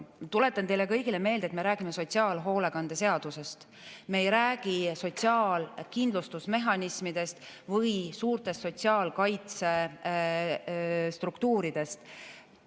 Tuletan teile kõigile meelde, et me räägime sotsiaalhoolekande seadusest, me ei räägi sotsiaalkindlustusmehhanismidest või suurtest sotsiaalkaitsestruktuuridest.